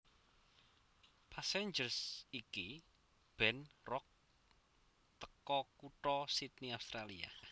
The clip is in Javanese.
Passenger iki band rock teko kutha Sidney Australia